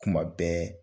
Kuma bɛɛ